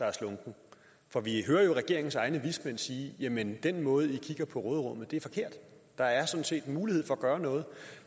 er slunken for vi hører jo regeringens egne vismænd sige jamen den måde hvorpå i kigger på råderummet er forkert der er sådan set en mulighed for at gøre noget